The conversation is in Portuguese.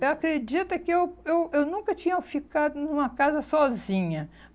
Eu acredito que eu eu eu nunca tinha ficado numa casa sozinha.